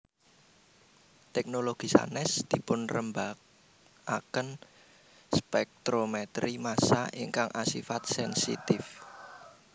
Teknologi sanes dipunrembaaken spektrometri massa ingkang asifat sensitif